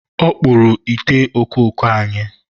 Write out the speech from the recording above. ọ kpụrụ ite okooko anyị.